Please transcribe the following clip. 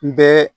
N bɛ